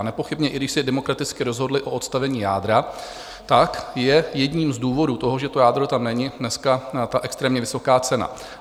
A nepochybně i když se demokraticky rozhodli o odstavení jádra, tak je jedním z důvodů toho, že to jádro tam není dneska, ta extrémně vysoká cena.